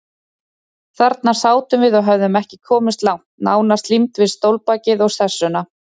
Þarna sátum við og höfðum ekki komist langt, nánast límd við stólbakið og sessuna.